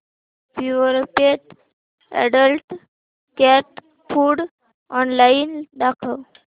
Purepet adult cat food online दाखव